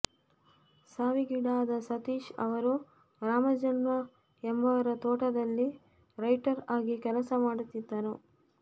ಸಾವಿಗೀಡಾದ ಸತೀಶ್ ಅವರು ರಾಮಜಮ್ಮ ಎಂಬವರ ತೋಟದಲ್ಲಿ ರೈಟರ್ ಅಗಿ ಕೆಲಸ ಮಾಡುತ್ತಿದ್ದರು